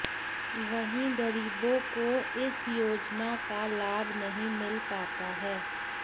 वहीं गरीबों को इस योजना का लाभ नहीं मिल पाता है